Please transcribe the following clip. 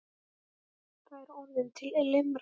Það er orðin til limra!